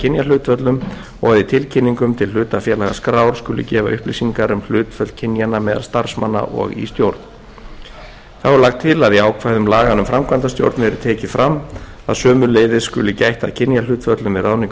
kynjahlutföllum og að í tilkynningum til hlutafélagaskrár skuli gefa upplýsingar um hlutföll kynjanna meðal starfsmanna og í stjórn þá er lagt til að í ákvæðum laganna um framkvæmdastjóra verði tekið fram að sömuleiðis skuli gætt að kynjahlutföllum við ráðningu